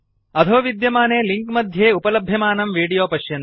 अधोविद्यमाने link मध्ये उपलभ्यमानं video पश्यन्तु